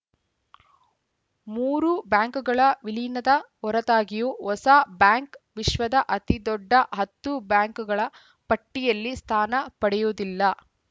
ಮೂರೂ ಬ್ಯಾಂಕ್‌ಗಳ ವಿಲೀನದ ಹೊರತಾಗಿಯೂ ಹೊಸ ಬ್ಯಾಂಕ್‌ ವಿಶ್ವದ ಅತಿದೊಡ್ಡ ಹತ್ತು ಬ್ಯಾಂಕ್‌ಗಳ ಪಟ್ಟಿಯಲ್ಲಿ ಸ್ಥಾನ ಪಡೆಯುವುದಿಲ್ಲ